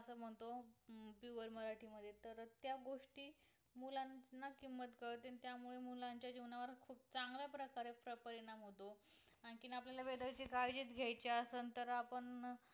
आणखीन आपल्याला weather ची काळजी च घ्याची असेल तर आपण